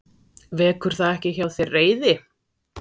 Vekur það ekki hjá þér reiði?